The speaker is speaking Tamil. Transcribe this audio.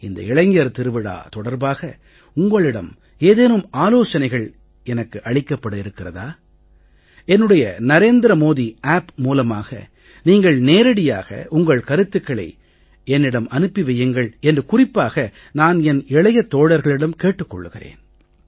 இந்த இளைஞர் திருவிழா தொடர்பாக உங்களிடம் ஏதேனும் ஆலோசனைகள் எனக்கு அளிக்கப்பட இருக்கிறதா என்னுடைய நரேந்திர மோதி App மூலமாக நீங்கள் நேரடியாக உங்கள் கருத்துக்களை என்னிடம் அனுப்பி வையுங்கள் என்று குறிப்பாக நான் என் இளைய தோழர்களிடம் கேட்டுக் கொள்கிறேன்